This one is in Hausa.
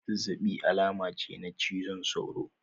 Zazzabi alama ce na cizon sauro